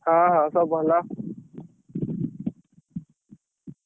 ହଁ ହଁ ସବୁ ଭଲ।